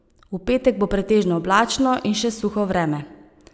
V petek bo pretežno oblačno in še suho vreme.